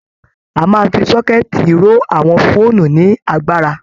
A máa ń fi sọ́kẹ́tì ró àwọn fóònù ní agbára